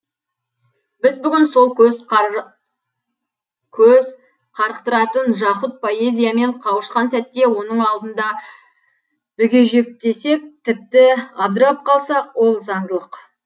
біз бүгін сол көз көз қарықтыратын жаһұт поэзиямен қауышқан сәтте оның алдында бүгежектесек тіпті абдырап қалсақ ол заңдылық